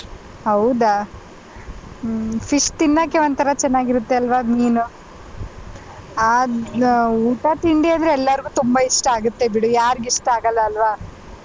ಹೌದಾ ಹ್ಮ್‌ fish ತಿನ್ನೋಕ್ಕೆ ಒಂಥರ ಚೆನ್ನಾಗಿರುತ್ತೆ ಅಲ್ವಾ ಮೀನು ಆ ಊಟ ತಿಂಡಿ ಅಂದ್ರೆ ಎಲ್ಲಾರ್ಗು ತುಂಬ ಇಷ್ಟ ಆಗುತ್ತೆ ಬಿಡು ಯಾರ್ಗ್ ಇಷ್ಟ ಆಗಲ್ಲ ಅಲ್ವಾ.